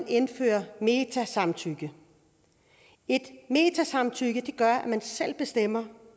indføre metasamtykke et metasamtykke gør at man selv bestemmer